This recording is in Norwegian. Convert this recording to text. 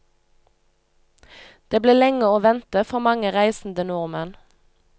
Det ble lenge å vente for mange reisende nordmenn.